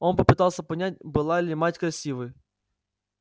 он попытался понять была ли мать красивой